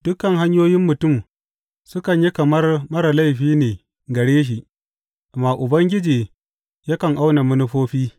Dukan hanyoyin mutum sukan yi kamar marar laifi ne gare shi, amma Ubangiji yakan auna manufofi.